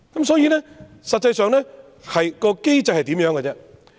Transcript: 所以，實際上，機制是怎樣呢？